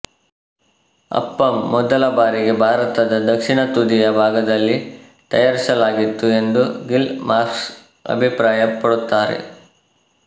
ಅಪ್ಪಮ್ ಮೊದಲ ಬಾರಿಗೆ ಭಾರತದ ದಕ್ಷಿಣ ತುದಿಯ ಭಾಗದಲ್ಲಿ ತಯಾರಿಸಲಾಗಿತ್ತು ಎಂದು ಗಿಲ್ ಮಾರ್ಕ್ಸ್ ಅಭಿಪ್ರಾಯ ಪಡುತ್ತಾರೆ